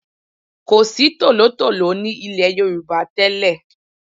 Kò sí tòlótòló ní ilẹ̀ Yorùbá tẹ́lẹ̀.